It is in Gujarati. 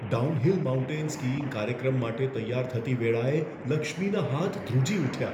ડાઉનહિલ માઉન્ટેન સ્કીઈંગ કાર્યક્રમ માટે તૈયાર થતી વેળાએ લક્ષ્મીના હાથ ધ્રુજી ઉઠ્યા.